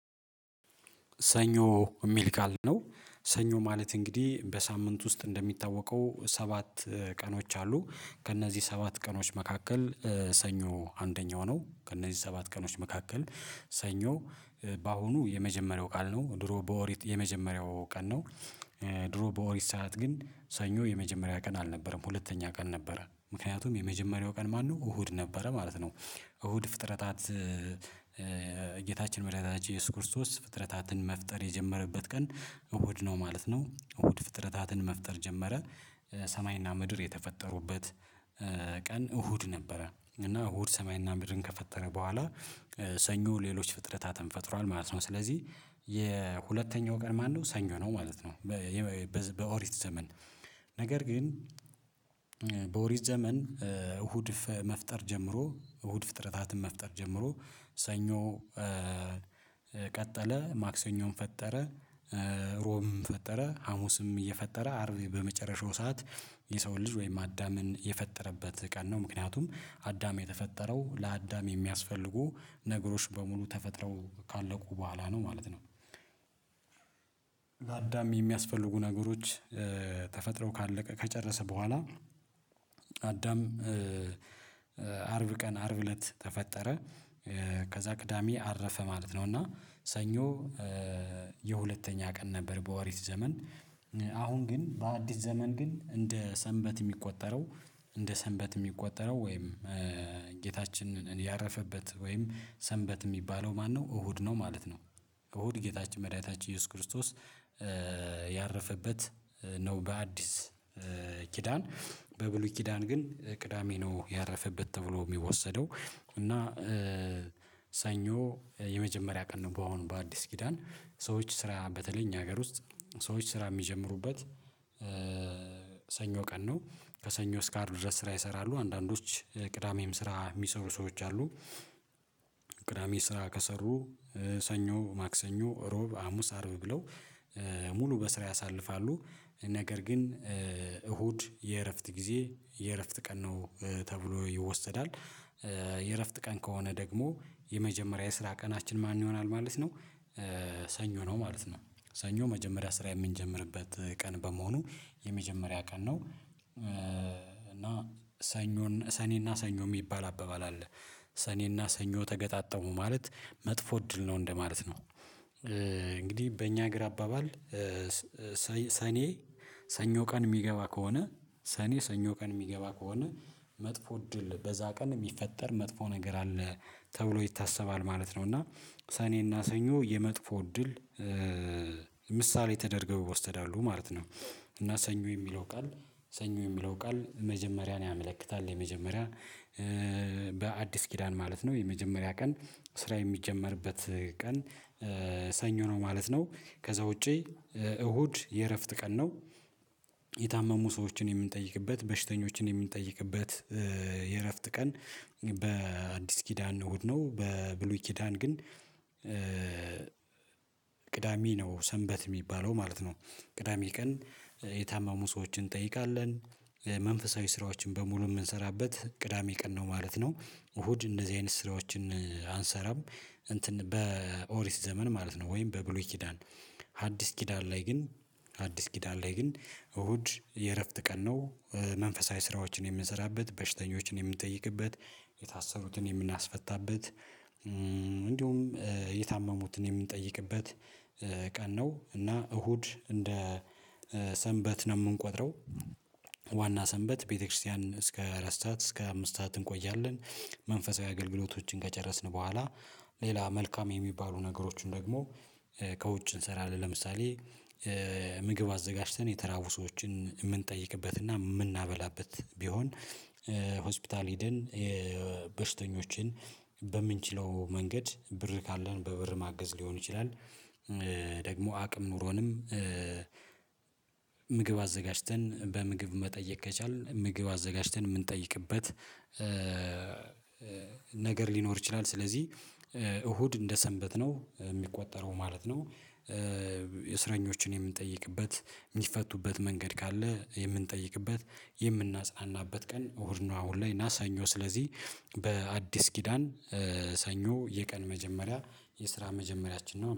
ሰኞ የሚል ቃል ነው ሰኞ ማለት እንግዲህ በሳምንት ውስጥ እንደሚታወቀው ሰባት ቀኖች አሉ ከእነዚህ ሰባት ቀኖች መካከል ሰኞ አንደኛው ነው ከእነዚህ ሰባት ቀኖች መካከል ሰኞ በአሁኑ የመጀመሪያው ቃል ነው ድሮ በኦሪት የመጀመሪያው ቀን ነው ድሮ በኦሪት ሰዓት ግን ሰኞ የመጀመሪያ ቀን አልነበረም ሁለተኛ ቀን ነበረ ምክንያቱም የመጀመሪያው ቀን ማነው እሁድ ነበረ ማለት ነው እሁድ ፍጥረታት ጌታችን መዳህኒታችን ኢየሱስ ክርስቶስ ፍጥረታትን መፍጠር የጀመረበት ቀን እሁድ ነው ማለት ነው እሁድ ፍጥረታትን መፍጠር ጀመረ ሰማይና ምድር የተፈጠሩበት ቀን እሁድ ነበረ እና እሁድ ሰማይና ምድርን ከፈጠረ በኋላ ሰኞ ሌሎች ፍጥረታትን ፈጥሯል ማለት ነው ስለዚህ የሁለተኛው ቀን ማነው ሰኞ ነው ማለት ነው በኦሪት ዘመን ነገር ግን በኦሪት ዘመን እሁድ መፍጠር ጀምሮ እሁድ ፍጥረታትን መፍጠር ጀምሮ ሰኞ ቀጠለ ማክሰኞን ፈጠረ ሮብም ፈጠረ ሀሙስም እየፈጠረ አርብ በመጨረሻው ሰዓት የሰውን ልጅ ወይም አዳምን የፈጠረበት ቀን ነው ምክንያቱም አዳም የተፈጠረው ለአዳም የሚያስፈልጉ ነገሮች በሙሉ ተፈጥረው ካለቁ በኋላ ነው ማለት ነው አዳም የሚያስፈልጉ ነገሮች ተፈጥሮ ካለቀ ከጨረሰ በኋላ አዳም አርብ ቀን አርብ እለት ተፈጠረ ከዛ ቅዳሜ አረፈ ማለት ነው እና ሰኞ የሁለተኛ ቀን ነበር በኦሪት ዘመን አሁን ግን በአዲስ ዘመን ግን እንደ ሰንበት የሚቆጠረው እንደ ሰንበት የሚቆጠረው ወይም ጌታችንን ያረፈበት ወይም ሰንበት የሚባለው ማነው እሁድ ነው ማለት ነው እሁድ ጌታችን መድኃኒታችን ኢየሱስ ክርስቶስ ያረፈበት ነው በአዲስ ኪዳን በብሉይ ኪዳን ግን ቅዳሜ ነው ያረፈበት ተብሎ የሚወሰደው እና ሰኞ የመጀመሪያ ቀን ነው በአሁኑ በአዲስ ኪዳን ሰዎች ስራ በተለይ እኛ ሀገር ውስጥ ሰዎች ስራ የሚጀምሩበት ሰኞ ቀን ነው ከሰኞ እስከ አርብ ድረስ ስራ ይሰራሉ አንዳንዶች ቅዳሜም ስራ የሚሰሩ ሰዎች አሉ ቅዳሜ ስራ ከሰሩ ሰኞ ማክሰኞ እሮብ ሀሙስ አርብ ብለው ሙሉ በስራ ያሳልፋሉ ነገር ግን እሁድ የእረፍት ጊዜ የእረፍት ቀን ነው ተብሎ ይወሰዳል የእረፍት ቀን ከሆነ ደግሞ የመጀመሪያ የስራ ቀናችን ማን ይሆናል ማለት ነው ሰኞ ነው ማለት ነው ሰኞ መጀመሪያ ስራ የምንጀምርበት ቀን በመሆኑ የመጀመሪያ ቀን ነው እና ሰኞን ሰኔና ሰኞ የሚባል አባባል አለ ሰኔና ሰኞ ተገጣጠሙ ማለት መጥፎ እድል ነው እንደማለት ነው እንግዲህ በእኛ ሀገር አባባል ሰኔ ሰኞ ቀን የሚገባ ከሆነ ሰኔ ሰኞ ቀን የሚገባ ከሆነ መጥፎ እድል በዛ ቀን የሚፈጠር መጥፎ ነገር አለ ተብሎ ይታሰባል ማለት ነው እና ሰኔና ሰኞ የመጥፎ እድል ምሳሌ ተደርገው ይወሰዳሉ ማለት ነው እና ሰኞ የሚለው ቃል ሰኞ የሚለው ቃል መጀመሪያን ያመለክታል የመጀመሪያ በአዲስ ኪዳን ማለት ነው የመጀመሪያ ቀን ስራ የሚጀመርበት ቀን ሰኞ ነው ማለት ነው ከዛ ውጪ እሁድ የእረፍት ቀን ነው የታመሙ ሰዎችን የምንጠይቅበት በሽተኞችን የምንጠይቅበት የእረፍት ቀን በአዲስ ኪዳን እሁድ ነው በብሉይ ኪዳን ግን ቅዳሜ ነው ሰንበት የሚባለው ማለት ነው ቅዳሜ ቀን የታመሙ ሰዎችን እንጠይቃለን መንፈሳዊ ስራዎችን በሙሉ የምንሰራበት ቅዳሜ ቀን ነው ማለት ነው እሁድ እንደዚህ አይነት ስራዎችን አንሰራም እንትን በኦሪት ዘመን ማለት ነው ወይም በብሉይ ኪዳን ሐዲስ ኪዳን ላይ ግን ሐዲስ ኪዳን ላይ ግን እሁድ የእረፍት ቀን ነው መንፈሳዊ ስራዎችን የምንሰራበት በሽተኞችን የምንጠይቅበት የታሰሩትን የምናስፈታበት እንዲሁም የታመሙትን የምንጠይቅበት ቀን ነው እና እሁድ እንደ ሰንበት ነው የምንቆጥረው ዋና ሰንበት ቤተክርስቲያን እስከ አራት ሰዓት እስከ አምስት ሰዓት እንቆያለን መንፈሳዊ አገልግሎቶችን ከጨረስን በኋላ ሌላ መልካም የሚባሉ ነገሮችን ደግሞ ከውጭ እንሰራለን ለምሳሌ ምግብ አዘጋጅተን የተራቡ ሰዎችን የምንጠይቅበትና የምናበላበት ቢሆን ሆስፒታል ሄደን የበሽተኞችን በምንችለው መንገድ ብር ካለን በብር ማገዝ ሊሆን ይችላል ደግሞ አቅም ኑሮንም ምግብ አዘጋጅተን በምግብ መጠየቅ ከቻልን ምግብ አዘጋጅተን የምንጠይቅበት ነገር ሊኖር ይችላል ስለዚህ እሁድ እንደሰንበት ነው የሚቆጠረው ማለት ነው እስረኞችን የምንጠይቅበት የሚፈቱበት መንገድ ካለ የምንጠይቅበት የምናጽናናበት ቀን እሁድ ነው አሁን ላይ እና ሰኞ ስለዚህ በአዲስ ኪዳን ሰኞ የቀን መጀመሪያ የስራ መጀመሪያችን ነው።